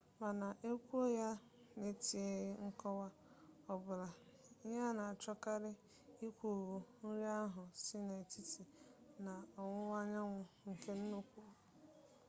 mana e kwuo ya n'etinyeghi nkọwa ọbụla ihe a na-achọkarị ikwu bụ nri ahụ si n'etiti na ọwụwa anyanwu nke nnukwu agwaetiti java